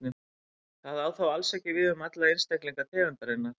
Það á þó alls ekki við um alla einstaklinga tegundarinnar.